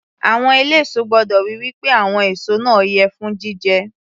Àwọn eléso gbọ́dọ̀ ríi wí pé àwọn èso náà yẹ fún jíjẹ